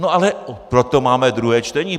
No ale proto máme druhé čtení.